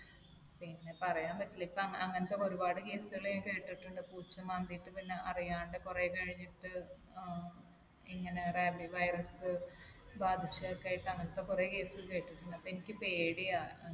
പിന്നെ പറയാൻ പറ്റില്ല. ഇപ്പൊ അങ്ങനത്തെ ഒരുപാട് case കൾ ഞാൻ കേട്ടിട്ടുണ്ട്. പൂച്ച മാന്തിയിട്ട് പിന്നെ അറിയാണ്ട് കൊറേ കഴിഞ്ഞിട്ട് ഏർ ഇങ്ങനെ Rabi virus ബാധിച്ചതൊക്കെയായിട്ട്. അങ്ങനത്തെ കൊറേ case കേട്ടിട്ടുണ്ട്. അപ്പൊ എനിക്ക് പേടിയാണ്.